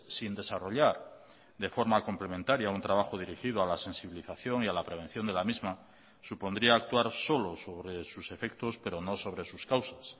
sin desarrollar de forma complementaria un trabajo dirigido a la sensibilización y a la prevención de la misma supondría actuar solo sobre sus efectos pero no sobre sus causas